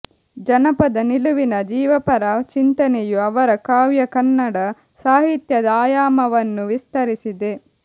ಜನಪದ ನಿಲುವಿನ ಜೀವಪರ ಚಿಂತನೆಯು ಅವರ ಕಾವ್ಯ ಕನ್ನಡ ಸಾಹಿತ್ಯದ ಆಯಾಮವನ್ನು ವಿಸ್ತರಿಸಿದೆ